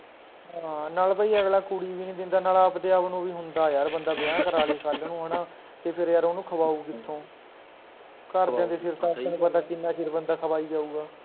ਹਾਂ ਨਾਲ ਬਾਈ ਅਗਲਾਂ ਕੁੜੀ ਵੀ ਨੀ ਦਿੰਦਾ ਨਾਲ ਆਪਦੇ ਆਪ ਨੂੰ ਵੀ ਹੁੰਦਾ ਯਾਰ ਬੰਦਾ ਵਿਆਹ ਕਰਾਲੈ ਕੱਲ ਨੂੰ ਹੈਨਾ, ਤੇ ਫੇਰ ਯਾਰ ਓਹਨੂੰ ਖਵਾਊ ਕਿਥੋਂ ਘਰਦਿਆ ਦੇ ਸਿਰ ਤੋ ਤੇਨੂੰ ਪਤਾ ਕਿੰਨਾ ਚਿਰ ਬੰਦਾ ਖਵਾਈ ਜਾਊਗਾ